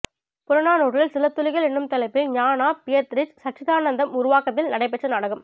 புறநானூற்றில் சில துளிகள் என்னும் தலைப்பில் ஞானா பியத்திரிஷ் சச்சிதானந்தம் உருவாக்கத்தில் நடைபெற்ற நாடகம்